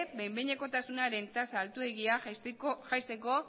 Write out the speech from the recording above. behin behinekotasunaren tasa altuegia jaisteko